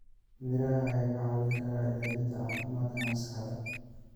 Miraha ayaa kaa caawin kara hagaajinta caafimaadka maskaxda.